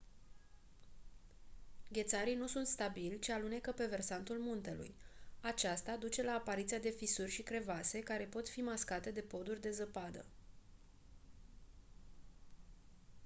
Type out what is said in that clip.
ghețarii nu sunt stabili ci alunecă pe versantul muntelui aceasta duce la apariția de fisuri și crevase care pot fi mascate de poduri de zăpadă